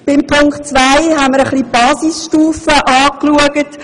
Bei Punkt 2 haben wir die Basisstufe angeschaut.